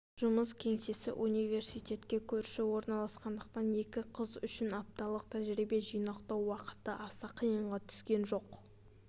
жұмыс кеңсесі университетке көрші орналасқандықтан екі қыз үшін апталық тәжірибе жинақтау уақыты аса қиынға түскен жоқ